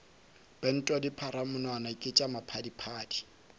pentwa dipalamonwana ke tša maphadiphadi